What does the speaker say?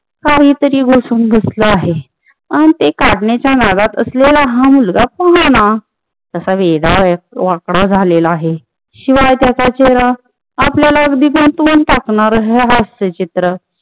काहीतरी घुसुन बसलं आहे आणि ते काढण्याच्या नादात असलेला हा मुलगा पहाना कसा वेडा वाकडा झालेला आहे शिवाय त्याच्या चेहरा आपल्यालाच बिनसुन टाकणार हे हास्य चित्र